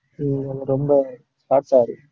உம் அங்க ரொம்ப short ஆ இருக்கும்.